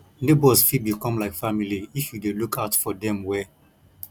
neighbors fit become like family if you dey look out for dem well